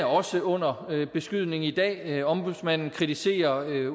også under beskydning i dag ombudsmanden kritiserer